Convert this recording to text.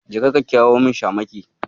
Jeka ka kirawo min Shamaki.